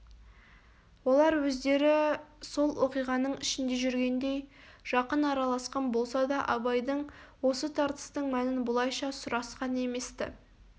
олар өздері сол оқиғаның ішінде жүргендей жақын араласқан болса да абайдан осы тартыстың мәнін бұлайша сұрасқан емес-ті